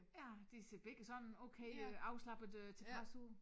Ja de ser begge sådan okay øh afslappet øh tilfreds ud